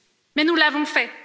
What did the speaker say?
Mais nous l'avons fait.